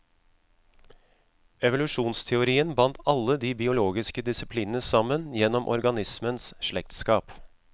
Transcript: Evolusjonsteorien bandt alle de biologiske disiplinene sammen gjennom organismenes slektskap.